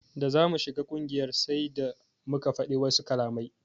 Da zamu shiga ƙungiyar sai da muka fadi wasu kalamai.